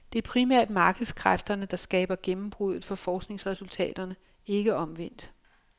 Det er primært markedskræfterne, der skaber gennembruddet for forskningsresultaterne, ikke omvendt.